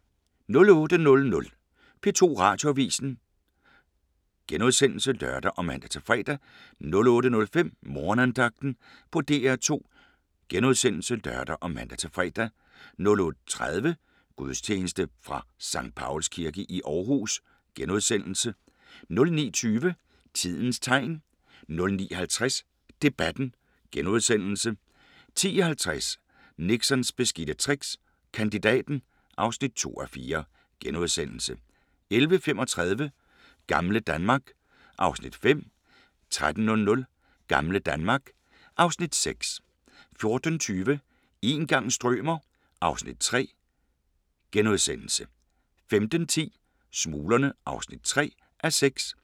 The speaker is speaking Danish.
08:00: P2 Radioavis *(lør og man-fre) 08:05: Morgenandagten på DR2 *(lør og man-fre) 08:30: Gudstjeneste fra Skt. Pauls Kirke i Aarhus * 09:20: Tidens Tegn 09:50: Debatten * 10:50: Nixons beskidte tricks – Kandidaten (2:4)* 11:35: Gamle Danmark (Afs. 5) 13:00: Gamle Danmark (Afs. 6) 14:20: Een gang strømer... (Afs. 3)* 15:10: Smuglerne (3:6)